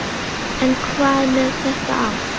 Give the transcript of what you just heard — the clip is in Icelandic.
En hvað með þetta ár?